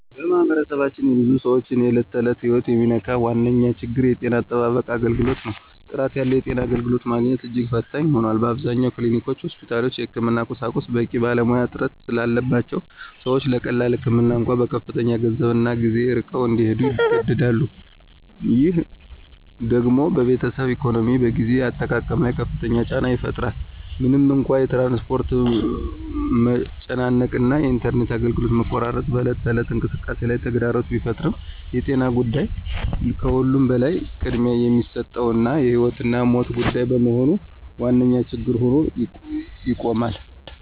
በማኅበረሰባችን የብዙ ሰዎችን የዕለት ተዕለት ሕይወት የሚነካው ዋነኛው ችግር የጤና አጠባበቅ አገልግሎት ነው። ጥራት ያለው የጤና አገልግሎት ማግኘት እጅግ ፈታኝ ሆኗል። አብዛኞቹ ክሊኒኮችና ሆስፒታሎች የሕክምና ቁሳቁስና በቂ ባለሙያ እጥረት ስላለባቸው ሰዎች ለቀላል ህመም እንኳ በከፍተኛ ገንዘብና ጊዜ ርቀው እንዲሄዱ ይገደዳሉ። ይህ ደግሞ በቤተሰብ ኢኮኖሚና በጊዜ አጠቃቀም ላይ ከፍተኛ ጫና ይፈጥራል። ምንም እንኳ የትራንስፖርት መጨናነቅ እና የኢንተርኔት አገልግሎት መቆራረጥ በዕለት ተዕለት እንቅስቃሴ ላይ ተግዳሮት ቢፈጥሩም የጤና ጉዳይ ከሁሉም በላይ ቅድሚያ የሚሰጠውና የሕይወትና ሞት ጉዳይ በመሆኑ ዋነኛ ችግር ሆኖ ይቆማል።